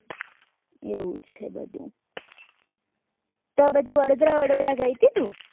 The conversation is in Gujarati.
એવું છે બધું તો આ બાજુ વડોદરા ગઈ તી તું